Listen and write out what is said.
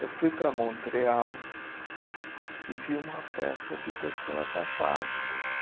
Eu fui para Montreal e vi uma peça de pessoas afásicas.